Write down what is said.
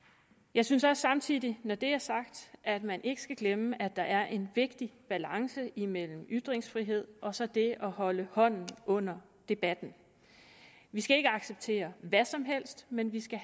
jeg synes også samtidig når det er sagt at man ikke skal glemme at der er en vigtig balance imellem ytringsfrihed og så det at holde hånden under debatten vi skal ikke acceptere hvad som helst men vi skal